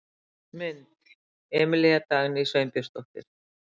Mynd: Emilía Dagný Sveinbjörnsdóttir.